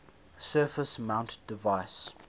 surface mount device